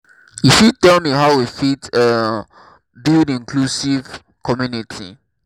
you fit tell me how we fit um build inclusive community?